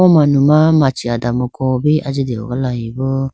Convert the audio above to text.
o manuma machi adamuko bi ajiteho galayibo.